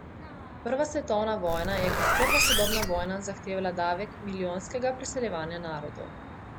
Prva svetovna vojna je kot prva sodobna vojna zahtevala davek milijonskega preseljevanja narodov.